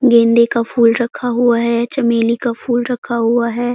गेंदे का फूल रखा हुआ है चमेली का फूल रखा हुआ है।